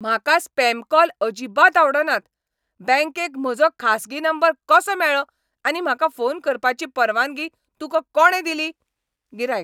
म्हाका spam call अजिबात आवडनात. बँकेक म्हजो खासगी नंबर कसो मेळ्ळो आनी म्हाका फोन करपाची परवानगी तुका कोणें दिली? गिरायक